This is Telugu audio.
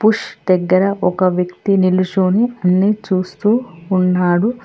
పుష్ దగ్గర ఒక వ్యక్తి నిలుచుని అన్ని చూస్తూ ఉన్నాడు.